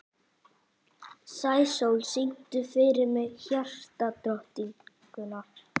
Sæsól, syngdu fyrir mig „Hjartadrottningar“.